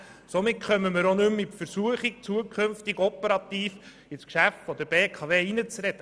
Damit kommen wir auch nicht mehr in die Versuchung, uns zukünftig operativ in das Geschäft der BKW einzumischen.